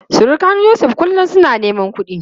Surukan Yusuf kullum suna neman kudi.